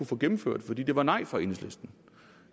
få gennemført fordi der var nej fra enhedslisten